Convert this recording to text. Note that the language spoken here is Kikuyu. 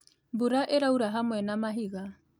Mbura ĩraura hamwe na mahiga